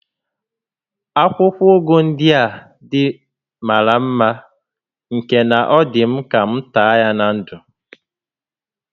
Akwụkwọ ụgụ ndịa dị màrà mmá nke na ọ dị m ka m taa ya na ńdụ̀